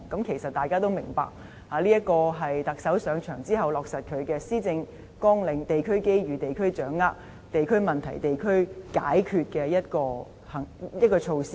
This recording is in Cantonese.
其實，大家也明白，這是特首上任後落實他的施政綱領，即"地區機遇，地區掌握；地區問題，地區解決"的一項措施。